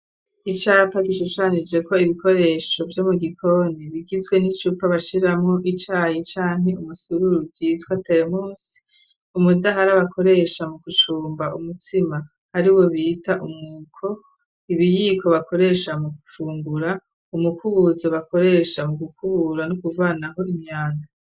Icapa gishushanije ko ibikoresho vyo mu gikoni bigizwe n'icupa bashiramo icayi cani umusururu gitwa teremosi, umudahara bakoresha mu gucumba umutsima ari wo bita umwuko, ibiyiko bakoresha mu gufungura, umukubuzo bakoresha mu gukubura no kuvanaho imyanda.